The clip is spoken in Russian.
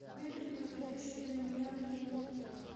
выбери подходящее для меня время